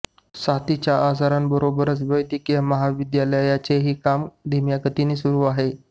साथीच्या आजारांबरोबर वैद्यकीय महाविद्यालयाचेही काम धीम्या गतीने सुरू आहे